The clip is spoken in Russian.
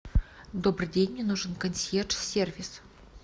добрый день мне нужен консьерж сервис